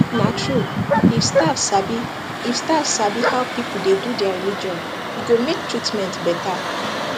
na true if staff sabi if staff sabi how people dey do their religion e go make treatment better